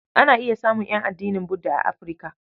Ana iya samun ƴan addinin Budda a Afirka.